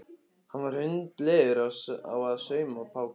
Hann var hundleiður á að sauma Pál.